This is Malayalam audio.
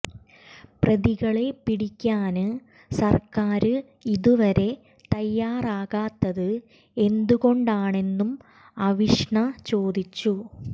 പ്രതികളെ പിടിക്കാന് സര്ക്കാര് ഇതുവരെ തയാറാകാത്തത് എന്തു കൊണ്ടാണെന്നും അവിഷ്ണ ചോദിച്ചു